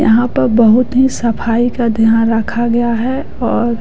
यहाँ पर बहुत ही सफाई का ध्यान रखा गया है और--